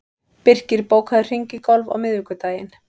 Birkir, bókaðu hring í golf á miðvikudaginn.